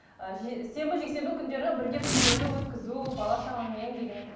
ы сенбі жексенбі күндері бірге күндерді өткізу бала шағаңмен деген